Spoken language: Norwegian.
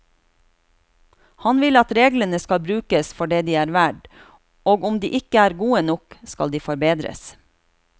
Han vil at reglene skal brukes for det de er verd, og om de ikke er gode nok, skal de forbedres.